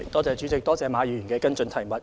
主席，多謝馬議員的補充質詢。